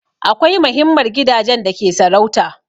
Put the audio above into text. Akwai mahinmar gidajen da ke sarauta